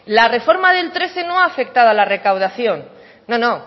la reforma del trece no ha afectado a la recaudación no no